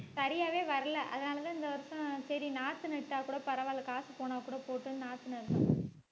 சரியாவே வரலை. அதனாலேதான் இந்த வருஷம் சரி நாத்து நட்டாக் கூட பரவாயில்லை. காசு போனாக்கூட போகட்டும்ன்னு நாத்து நட்டோம்